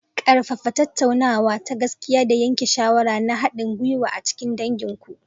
Ƙarfafa tattaunawa ta gaskiya da yanke shawara na haɗin gwiwa a cikin dangin ku.